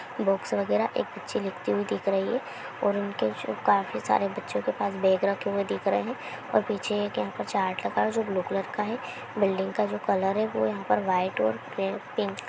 Books वगेरा एक बच्ची लिखती हुई दिख रही है ओर उनके जो काफी सारे बच्चों के पास बेग रखे हुए दिख रहे हैं ओर पीछे एक यहाँ पर चार्ट लगा है जो ब्लू कलर का है। बिल्डिंग का जो कलर है वो यहाँ पर वाइट ओर पे-पिंक --